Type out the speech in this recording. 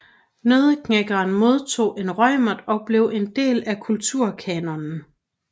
Nødderknækkeren modtog en Reumert og blev en del af Kulturkanonen